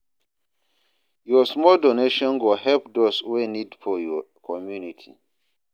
Yur small donation go help dose wey nid for yur community.